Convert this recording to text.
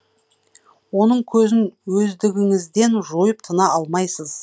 оның көзін өздігіңізден жойып тына алмайсыз